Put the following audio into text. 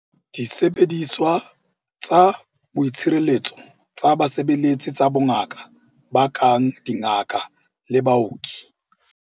Disebediswa tsa boitshireletso tsa basebeletsi tsa bongaka ba kang dingaka le baoki.